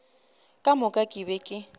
ka moka ke be ke